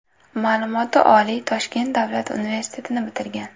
Ma’lumoti oliy Toshkent Davlat universitetini bitirgan.